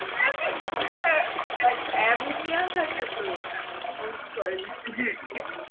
Ammonia থাকে তো ঐ toilet এ।